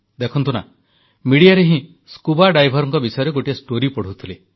ଦେଖନ୍ତୁ ନା ମିଡିଆରେ ହିଁ ସ୍କୁବା ଡାଇଭର୍ସଙ୍କ ବିଷୟରେ ଗୋଟିଏ କାହାଣୀ ପଢ଼ୁଥିଲି